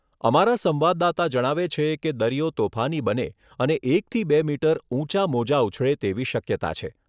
અમારા સંવાદદાતા જણાવે છે કે દરિયો તોફાની બને અને એક થી બે મીટર ઊંચા મોજા ઉછળે તેવી શક્યતા છે.